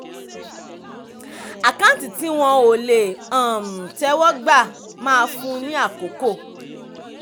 àkáǹtí tí wọ́n ò le um tẹ́wọ́ gbà máa fún ni àkókò.